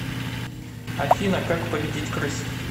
афина как победить крыс